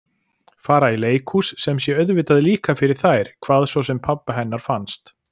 Fara í leikhús sem sé auðvitað líka fyrir þær hvað svo sem pabba hennar fannst.